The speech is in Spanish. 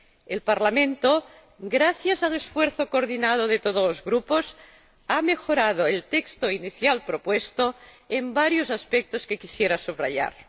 El Parlamento, gracias al esfuerzo coordinado de todos los Grupos, ha mejorado el texto inicial propuesto en varios aspectos que quisiera subrayar.